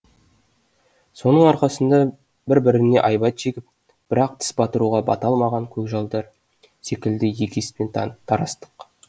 соның арқасында бір біріне айбат шегіп бірақ тіс батыруға бата алмаған көкжалдар секілді егеспен тарастық